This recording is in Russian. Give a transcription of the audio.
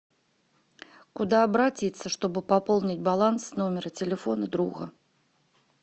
куда обратиться чтобы пополнить баланс номера телефона друга